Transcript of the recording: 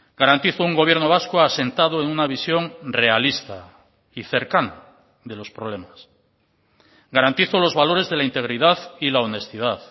garantizo un gobierno vasco asentado en una visión realista y cercana de los problemas garantizo los valores de la integridad y la honestidad